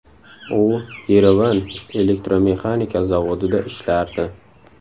U Yerevan elektromexanika zavodida ishlardi.